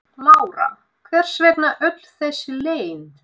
Lára: Hvers vegna öll þessi leynd?